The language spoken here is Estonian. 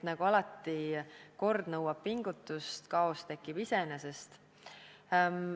Nagu alati – kord nõuab pingutust, kaos tekib iseenesest.